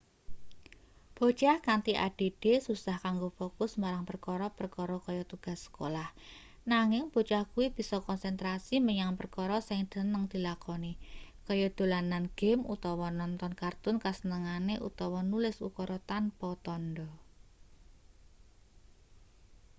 bocah kanthi add susah kanggo fokus marang perkara-perkara kaya tugas sekolah nanging bocah kuwi bisa konsentrasi menyang perkara sing seneng dilakoni kaya dolanan game utawa nonton kartun kasenengane utawa nulis ukara tanpa tandha